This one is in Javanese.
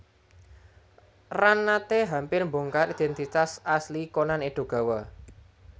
Ran nate hampir mbongkar identitas asli Conan Edogawa